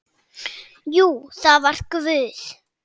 Jú, það var Guð.